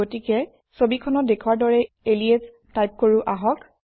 গতিকে ছবিখনত দেখুওৱাৰ দৰে এলিয়াছ টাইপ কৰোঁ আহক